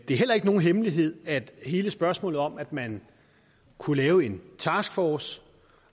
er heller ikke nogen hemmelighed at hele spørgsmålet om at man kunne lave en taskforce